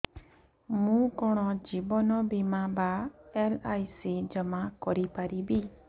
ମୁ କଣ ଜୀବନ ବୀମା ବା ଏଲ୍.ଆଇ.ସି ଜମା କରି ପାରିବି